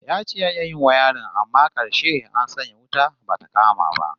Ya ce ya iya yin wayarin amma karshe an sanya wuta bata kama ba